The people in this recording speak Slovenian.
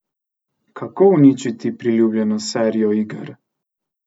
Kako uničiti priljubljeno serijo iger?